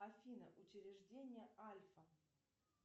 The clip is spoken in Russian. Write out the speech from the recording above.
афина учреждение альфа